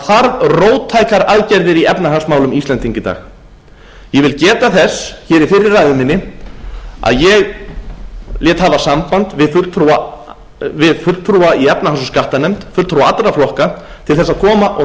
það þarf róttækar aðgerðir í efnahagsmálum íslendinga í dag ég vil geta þess hér í fyrri ræðu minni að ég lét hafa samband við fulltrúa allra flokka í efnahags og skattanefnd til þess að koma og